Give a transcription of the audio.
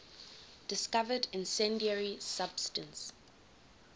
discovered incendiary substance